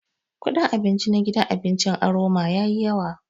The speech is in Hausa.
Kudin abinci na gidan abincin Aroma yayi yawa.